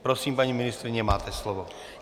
Prosím, paní ministryně, máte slovo.